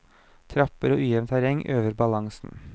Trapper og ujevnt terreng øver balansen.